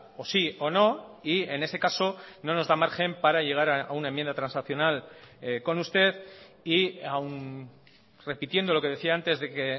o sí o no y en ese caso no nos da margen para llegar a una enmienda transaccional con usted y aun repitiendo lo que decía antes de que